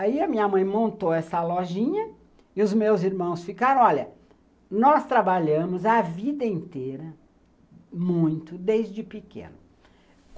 Aí a minha mãe montou essa lojinha e os meus irmãos ficaram... Olha, nós trabalhamos a vida inteira, muito, desde pequeno.